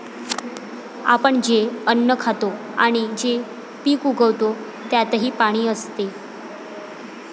आपण जे अन्न खातो आणि जे पीक उगवतो त्यातही पाणी असते.